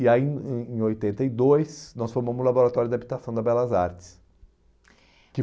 E aí em em oitenta e dois nós formamos o Laboratório de Habitação da Belas Artes. Que